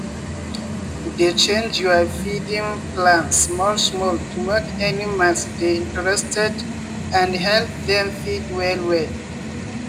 dey change your feeding plans small-small to make animals dey interested and help them feed well well.